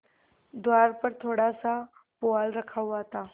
द्वार पर थोड़ासा पुआल रखा हुआ था